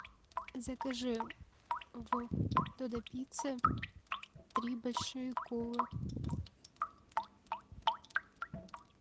закажи в додо пицце три большие колы